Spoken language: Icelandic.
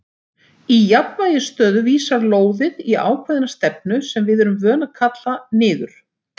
Í jafnvægisstöðu vísar lóðið í ákveðna stefnu sem við erum vön að kalla niður.